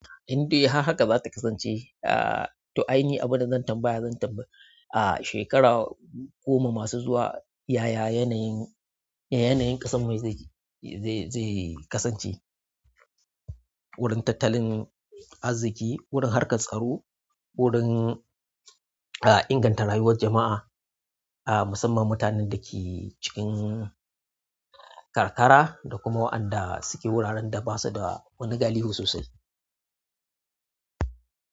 Indai har haka za ta kasance. To aini abunda zan tambaya zan tambaye. Ah shekara goma masu zuwa yaya yanyin yanyi ƙasanmu zai kasance wurin tattalin arziki, wurin harkar tsaro, wurin a inganta rayuwar jama'a, a musamman mutanen da ke cikin kakara da kuma waɗanda suke wuraren da basu da wani gilihu sosai?